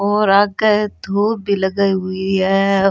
और आगे धुब भी लगाई हुई है।